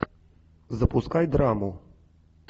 запускай драму